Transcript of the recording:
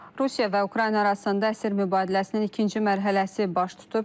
Rusiya və Ukrayna arasında əsir mübadiləsinin ikinci mərhələsi baş tutub.